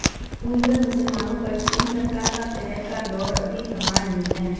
Uyghur मुसलमानों पर चीन सरकार का कहर का दौर अभी थमा नहीं है